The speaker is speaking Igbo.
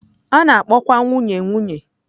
A na-akpọkwa nwunye nwunye.